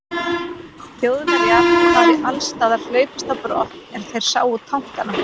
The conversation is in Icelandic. Þjóðverjar hafi allsstaðar hlaupist á brott, er þeir sáu tankana.